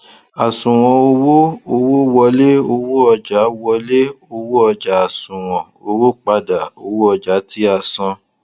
àṣùwòn owó owó wọlé owó ọjà wọlé owó ọjà àṣùwòn owó padà owó ọjà tí a san